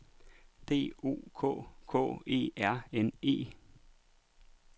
D O K K E R N E